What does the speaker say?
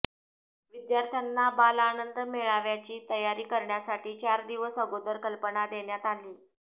विद्यार्थ्यांना बालआनंद मेळाव्याची तयारी करण्यासाठी चार दिवस अगोदर कल्पना देण्यात आली